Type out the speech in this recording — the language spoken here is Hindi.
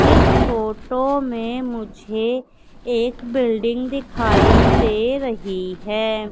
इस फोटो में मुझे एक बिल्डिंग दिखाई दे रही है।